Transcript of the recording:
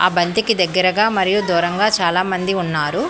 ఆ బంతికి దగ్గరగా మరియు దూరంగా చాలామంది ఉన్నారు.